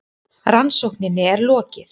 Rannsókninni er lokið!